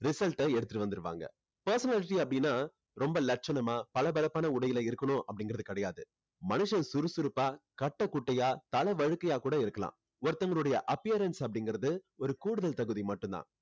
result அ எடுத்துட்டு வந்துருவாங்க personality அப்படின்னா ரொம்ப லட்சணமா பளபளப்பான உடையில இருக்கணும் அப்படிங்கறது கிடையாது மனுஷன் சுறுசுறுப்பா கட்டை குட்டையா தலை வழுக்கயா கூட இருக்கலாம் ஒருத்தங்களோட appearance அப்படிங்கறது ஒரு கூடுதல் தகுதி மட்டும் தான்